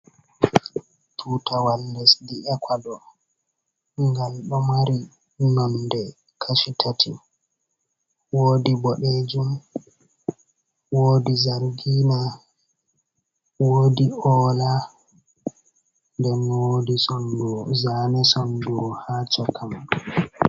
Tutawal lesdi ecuador, ngal ɗo mari nonde Kashi tati, wodi bodejun wodi zargina wodi ola den zane sondur ha caka man.